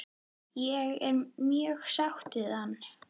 Ég er mjög sáttur við hann?